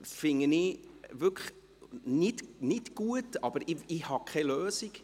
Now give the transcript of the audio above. Das finde ich wirklich nicht gut, aber ich habe keine Lösung.